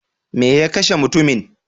Me ya kashe mutumin?